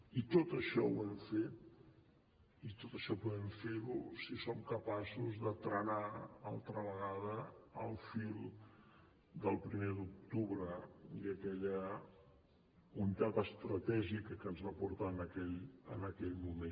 i tot això ho hem fet i tot això podem fer ho si som capaços de trenar altra vegada el fil del primer d’octubre i aquella unitat estratègica que ens va portar en aquell moment